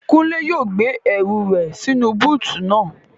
Kúnlé yóò gbé ẹrù rẹ̀ sínú búùtù naa